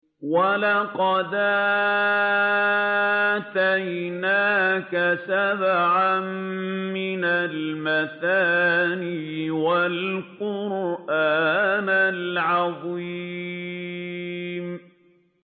وَلَقَدْ آتَيْنَاكَ سَبْعًا مِّنَ الْمَثَانِي وَالْقُرْآنَ الْعَظِيمَ